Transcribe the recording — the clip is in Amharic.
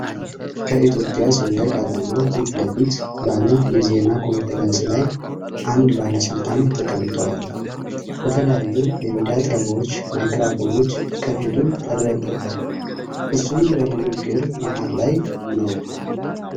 ከኢትዮጵያ ሰንደቅ ዓላማ ፊት ለፊት ባለ የዜና ኮንፈረንስ ላይ አንድ ባለስልጣን ተቀምጠዋል። በተለያዩ የሚዲያ ጣቢያዎች ማይክሮፎኖች ከፊቱ ተደርድረዋል፤ እሱም በንግግር መሀል ላይ ነው።